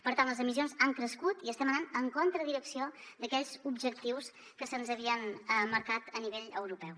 per tant les emissions han crescut i estem anant en contra direcció d’aquells objectius que se’ns havien marcat a nivell europeu